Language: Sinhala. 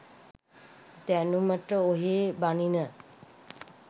දැනුමට ඔහේ බනින